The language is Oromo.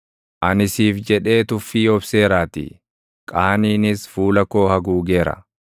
Ani siif jedhee tuffii obseeraatii; qaaniinis fuula koo haguugeera.